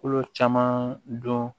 Kolo caman dɔn